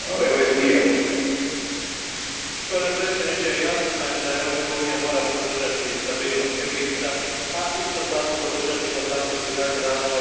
Gospodine predsjedniče, jasno je da Europska unija mora podržati stabilnost Egipta, a isto tako, podržati i potaknuti daljni razvoj procesa demokratizacije zemlje.